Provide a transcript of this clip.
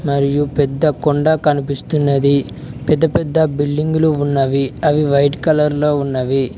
మరియు పెద్ద కొండ కనిపిస్తున్నది పెద్ద పెద్ద బిల్డింగులు ఉన్నవి అవి వైట్ కలర్ లో ఉన్నవి.